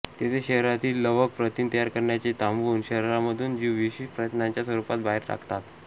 तेथे शरीरातील लवक प्रथिन तयार करण्याचे थांबवून शरीरामधून जीवविष प्रथिनाच्या स्वरूपात बाहेर टाकतात